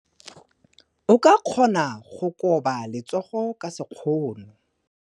O ka kgona go koba letsogo ka sekgono.